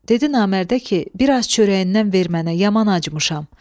Dedi Namərdə ki, biraz çörəyindən ver mənə, yaman acımışam.